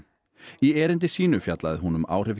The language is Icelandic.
í erindi sínu fjallaði hún um áhrif